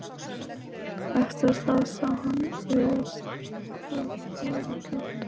Eftir það sá hann víðast hvar báða kanta.